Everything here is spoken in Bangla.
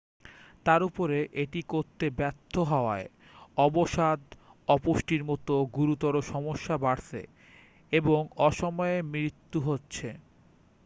তার উপরে এটি করতে ব্যর্থ হওয়ায় অবসাদ অপুষ্টির মতো গুরুতর সমস্যা বাড়ছে এবং অসময়ে মৃত্যু হচ্ছে